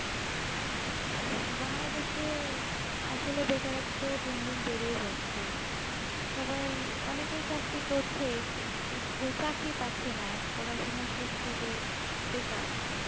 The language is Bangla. বাংলাদেশে আসলত্যা বেকারত্ব দিন দিন বেধেযাচাই সবাই অনেকে চাক্রিকরচাই চাকরি প্যাচাইনা পড়াশোনা শেষ করে বেকার